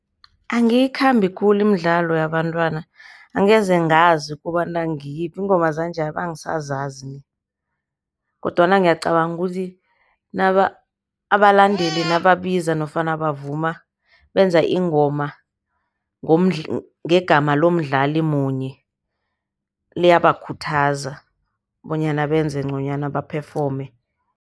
Angiyikhambi khulu imidlalo yabantwana, angeze ngazi kobana ngiyiphi. Iingoma zanje abengisazazi kodwana ngiyacabanga ukuthi abalandeli nababiza nofana bavuma benza ingoma ngegama lomdlali munye, liyabakhuthaza bonyana benze nconywana baphefome.